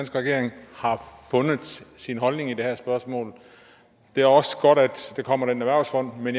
regering har fundet sin holdning i det her spørgsmål det er også godt at der kommer en erhvervsfond med